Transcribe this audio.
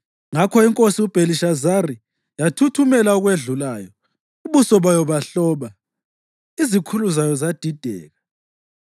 Ngakho inkosi uBhelishazari yathuthumela okwedlulayo, ubuso bayo bahloba. Izikhulu zayo zadideka.